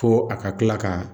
Fo a ka kila ka